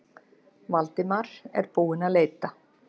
Valdimar er búinn að leita.